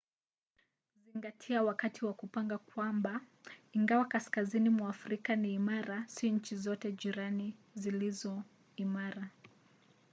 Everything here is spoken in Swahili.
zingatia wakati wa kupanga kwamba ingawa kaskazini mwa afrika ni imara si nchi zote jirani zilizo imara